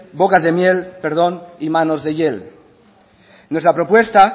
bocas de miel y manos de hiel nuestra propuesta